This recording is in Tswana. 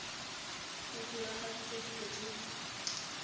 go diragaditswe dilo tse di